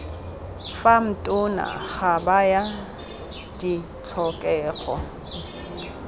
fam tona ga baya ditlhokego